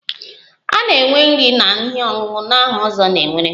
A ga-enwe nri na ihe ọṅụṅụ na aha ozo na-ewere?